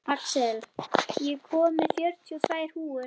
Axel, ég kom með fjörutíu og tvær húfur!